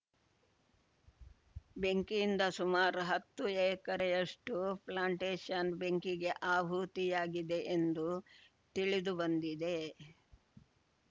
ಬೆಂಕಿಯಿಂದ ಸುಮಾರು ಹತ್ತು ಎಕರೆಯಷ್ಟುಪ್ಲಾಂಟೇಷನ್‌ ಬೆಂಕಿಗೆ ಆಹುತಿಯಾಗಿದೆ ಎಂದು ತಿಳಿದುಬಂದಿದೆ